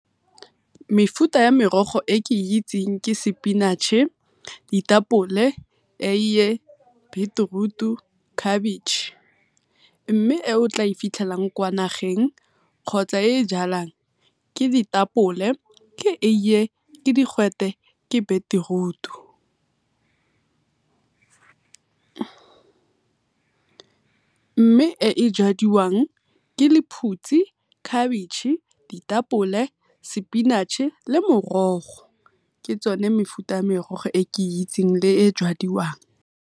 Mefuta ya merogo e ke itseng ke spinach-e, ditapole, eiye, beetroot le cabbage, mme e o tla e fitlhelang kwa nageng kgotsa e e jalwang ke ditapole, eiye, ke digwete, ke beterutu. Mme e jadiwang ke lephutshi, cabbage, ditapole, spinach-e le morogo ke tsone mefuta ya merogo e ke e itseng le e jadiwang.